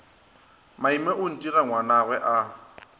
maime o ntira ngwanagwe a